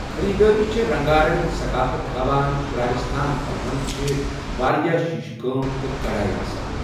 خریدٲری چھےٚ رنگارنگ ثفافت ہاوان ، راجستھان پلون چھِ وارِیاہ شیشہٕ كٲم تہٕ كڈایہ آسان ۔